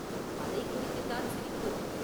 அதைக் குறித்துத்தான் சிரிப்பு!